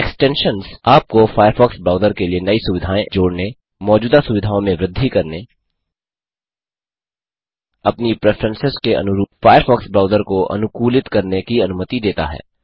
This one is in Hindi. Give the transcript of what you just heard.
एक्सटेंशन्स आपको फ़ायरफ़ॉक्स ब्राउज़र के लिए नई सुविधाएँ जोड़ने मौजूदा सुविधाओं में वृद्धि करने अपनी प्रेफेरंसेस के अनुरूप फ़ायरफ़ॉक्स ब्राउज़र को अनुकूलित करने की अनुमति देता है